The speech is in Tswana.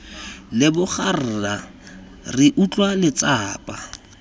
leboga rra re utlwa letsapa